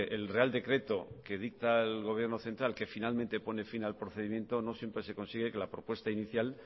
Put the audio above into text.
el real decreto que dicta el gobierno central que finalmente pone fin al procedimiento no siempre se consigue que la propuesta inicial